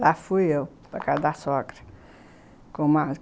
Lá fui eu, na casa da sogra com